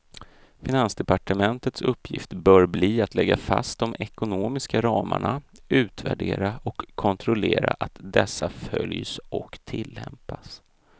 Finansdepartementets uppgift bör bli att lägga fast de ekonomiska ramarna, utvärdera och kontrollera att dessa följs och tillämpas.